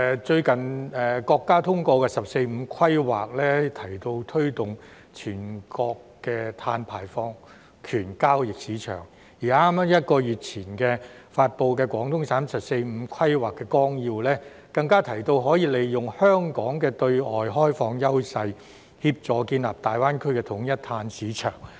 最近國家通過的"十四五"規劃提到推動全國的碳排放權交易市場，而在剛剛1個月前發布的廣東省"十四五"規劃綱要，更提到可以利用香港的對外開放優勢，協助建立大灣區的統一碳市場。